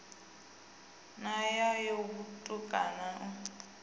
no ya ho vhutukani u